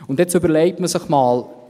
Und jetzt überlege man sich mal: